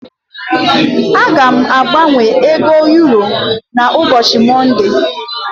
Aga m agbanwe ego euro n'ubochi monde.